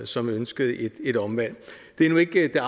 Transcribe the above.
som ønskede et omvalg det er nu ikke